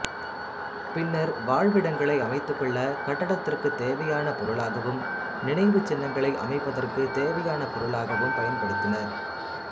பின்னர் வாழ்விடங்களை அமைத்துக்கொள்ள கட்டடத்திற்குத் தேவையான பொருளாகவும் நினைவுச் சின்னங்களை அமைப்பதற்குத் தேவையான பொருளாகவும் பயன்படுத்தினர்